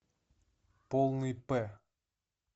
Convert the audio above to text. полный п